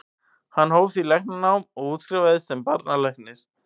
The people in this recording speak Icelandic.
Hann hóf því læknanám og útskrifaðist sem barnalæknir.